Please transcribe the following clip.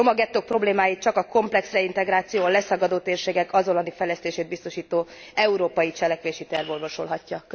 A romagettók problémáit csak a komplex reintegráció, a leszakadó térségek azonnali fejlesztését biztosító európai cselekvési terv orvosolhatja.